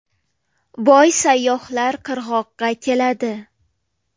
Boy sayyohlar qirg‘oqqa keladi.